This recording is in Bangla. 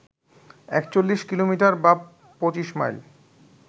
৪১ কিলোমিটার বা ২৫ মাইল